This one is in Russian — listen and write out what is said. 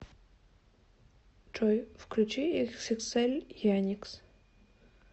джой включи иксиксэль яникс